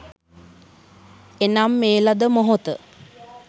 එනම් මේ ලද මොහොත